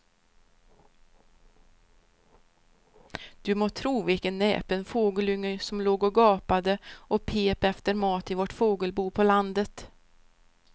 Du må tro vilken näpen fågelunge som låg och gapade och pep efter mat i vårt fågelbo på landet.